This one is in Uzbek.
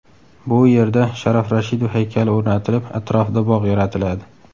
Bu yerda Sharof Rashidov haykali o‘rnatilib, atrofida bog‘ yaratiladi.